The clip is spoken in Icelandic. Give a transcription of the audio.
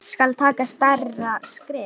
Skal taka stærra skref?